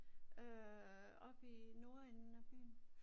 Øh oppe i Nordenden af byen